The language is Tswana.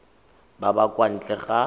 ba ba kwa ntle ga